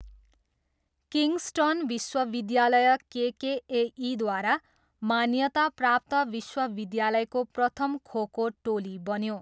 Kingston विश्वविद्यालय केकेएईद्वारा मान्यताप्राप्त विश्वविद्यालयको प्रथम खोखो टोली बन्यो।